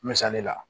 Misali la